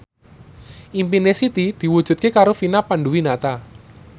impine Siti diwujudke karo Vina Panduwinata